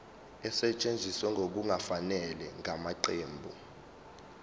esetshenziswe ngokungafanele ngamaqembu